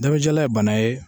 Damajalan ye bana ye.